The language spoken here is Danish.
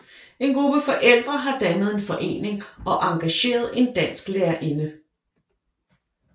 En gruppe forældre har dannet en forening og engageret en dansk lærerinde